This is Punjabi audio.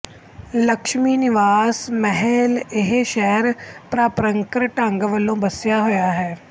ਲਕਸ਼ਮੀ ਨਿਵਾਸ ਮਹਲਇਹ ਸ਼ਹਿਰ ਪਾਰੰਪਰਕ ਢੰਗ ਵਲੋਂ ਬਸਿਆ ਹੋਇਆ ਹੈ